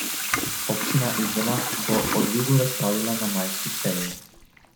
Občina Izola bo o dvigu razpravljala na majski seji.